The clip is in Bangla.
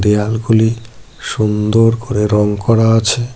দেয়ালগুলি সুন্দর করে রং করা আছে।